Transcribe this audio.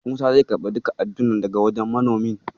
Musa zai karɓi duka addunan daga wajen manomin.